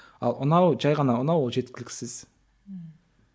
ал ұнау жай ғана ұнау ол жеткіліксіз ммм